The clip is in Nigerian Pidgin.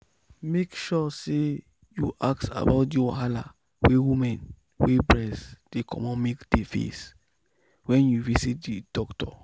make sure say you ask about the wahala wey women wey breast dey comot milk dey face when you visit the doctor.